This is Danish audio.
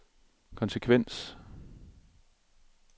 konsekvens